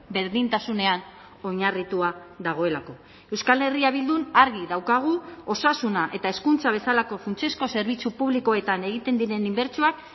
berdintasunean oinarritua dagoelako euskal herria bildun argi daukagu osasuna eta hezkuntza bezalako funtsezko zerbitzu publikoetan egiten diren inbertsioak